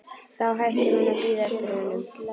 Þá hættir hún að bíða eftir honum.